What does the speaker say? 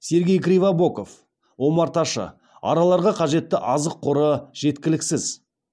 сергей кривобоков омарташы араларға қажетті азық қоры жеткіліксіз